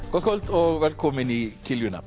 gott kvöld og velkomin í